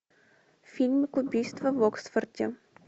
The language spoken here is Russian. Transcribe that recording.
фильм убийство в оксфорде